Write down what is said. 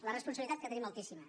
la responsabilitat que tenim altíssima